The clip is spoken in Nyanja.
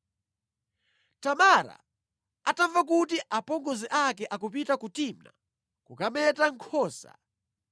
Tamara atamva kuti apongozi ake akupita ku Timna kukameta nkhosa,